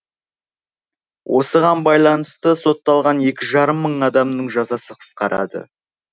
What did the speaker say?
осыған байланысты сотталған екі жарым мың адамның жазасы қысқарады